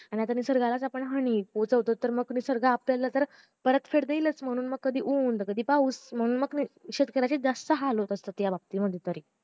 आणि जर निसर्गाला आपण हानी पोहचताव तर मग निसर्ग आपल्याला परतफेड देईलच म्हणून मग कधी ऊन कधी पाऊस म्हणून मग शेतकऱ्याचे जास्त हाल होत असता ह्या बाबतीत